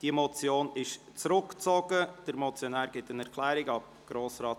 Diese Motion wurde zurückgezogen, der Motionär gibt eine Erklärung ab.